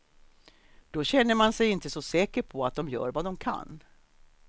Då känner man sig inte så säker på att de gör vad de kan.